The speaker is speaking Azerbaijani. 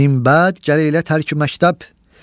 Min bəd gələ elə tərk məktəb,